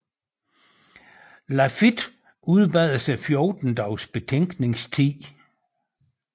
Lafitte udbad sig 14 dages betænkningstid